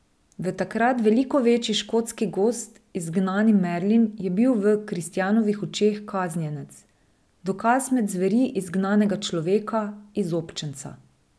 V takrat veliko večji škotski gozd izgnani Merlin je bil v kristjanovih očeh kaznjenec, dokaz med zveri izgnanega človeka, izobčenca.